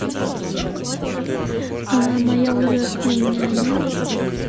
моя ужасная няня